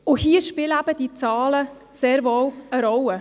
Dabei spielen die Zahlen sehr wohl eine Rolle.